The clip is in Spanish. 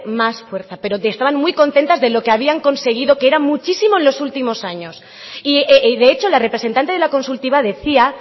más fuerza pero que estaban muy contentas de lo que habían conseguido que era muchísimo en los últimos años y de hecho la representante de la consultiva decía